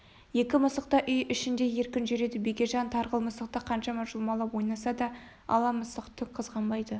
екі мысық та үй ішінде еркін жүреді бекежан тарғыл мысықты қанша жұлмалап ойнаса да ала мысық түк қызғанбайды